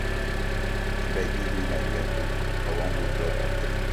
abeg give me my drawing book i wan go draw dat tree